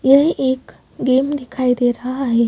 यह एक गेम दिखाई दे रहा है।